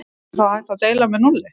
Er þá hægt að deila með núlli?